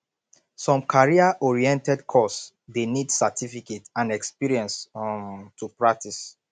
some career oriented course de need certificate and experience um to practice